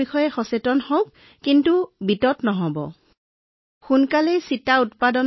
সেয়েহে সমাজত এই ৰোগটোৰ বিষয়ে সজাগতা আনিব লাগিব আৰু ইতিবাচক হব লাগিব আতংকিত নহব আৰু চাপত নাথাকিব